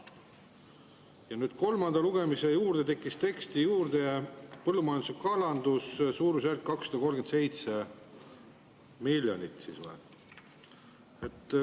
Ja nüüd kolmanda lugemise juurde tekkis teksti juurde põllumajandus ja kalandus, suurusjärk 237 miljonit.